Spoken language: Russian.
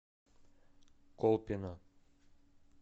колпино